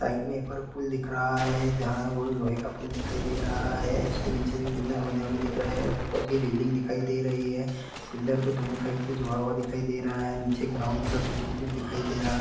Side में एक और पुल दिख रहा है जहाँ वो लोहे का पुल दिखाई दे रहा है। उसके नीचे भी पिलर बने हुए दिख रहे हैं। ऊपर भी रेलिंग दिखाई दे रही है। पिलर को दोनों साइड से जुड़ा हुआ दिखाई दे रहा है। नीचे एक ग्राउंड जैसा खुला कुछ दिखाई दे रहा है।